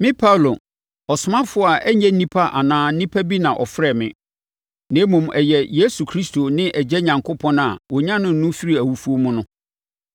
Me Paulo, ɔsomafoɔ a ɛnyɛ nnipa anaa onipa bi na ɔfrɛɛ me, na mmom ɛyɛ Yesu Kristo ne Agya Onyankopɔn a ɔnyanee no firii awufoɔ mu no.